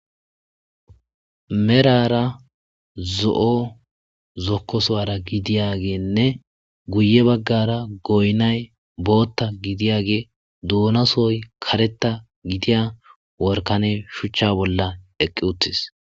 Merara zo'o zokkosuwara gidiyageenne guye baggara goynay bootta gidiyage duunasoy kareta gidiya workane shuchcha bolla eqqi uttis.